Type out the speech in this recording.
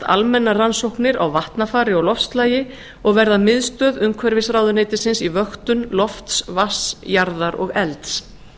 almennar rannsóknir á vatnafari og loftslagi og verða miðstöð umhverfisráðuneytisins í vöktun lofts vatns jarðar og elds